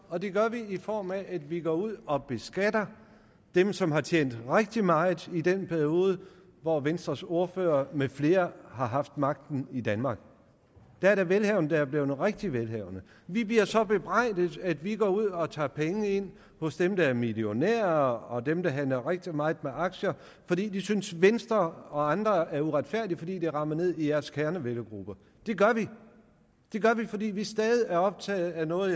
og det gør vi i form af at vi går ud og beskatter dem som har tjent rigtig meget i den periode hvor venstres ordfører med flere har haft magten i danmark her er der velhavende som er blevet rigtig velhavende vi bliver så bebrejdet at vi går ud og tager penge ind fra dem der er millionærer og dem der handler rigtig meget med aktier det synes venstre og andre er uretfærdigt fordi det rammer ned i deres kernevælgergrupper men det gør vi fordi vi stadig er optaget af noget